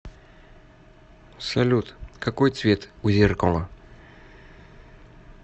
салют какой цвет у зеркала